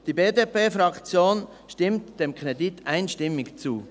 Die BDP-Fraktion stimmt den Kredit einstimmig zu.